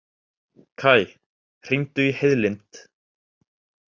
Kaj, hringdu í Heiðlind.